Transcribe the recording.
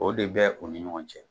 O de bɛ u ni ɲɔgɔn cɛ